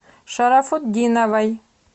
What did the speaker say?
шарафутдиновой